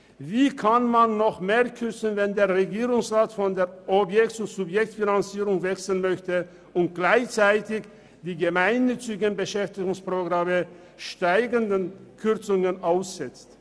Wie kann man noch mehr kürzen, wenn der Regierungsrat von der Objekt- zur Subjektfinanzierung wechseln möchte und gleichzeitig die gemeinnützigen Beschäftigungsprogramme zunehmenden Kürzungen aussetzt?